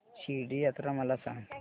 शिर्डी यात्रा मला सांग